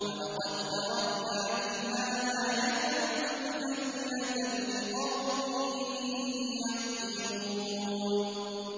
وَلَقَد تَّرَكْنَا مِنْهَا آيَةً بَيِّنَةً لِّقَوْمٍ يَعْقِلُونَ